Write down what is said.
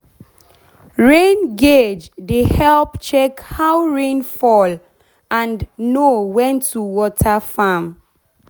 rain gauge dey help check how rain fall and rain fall and know when to water farm.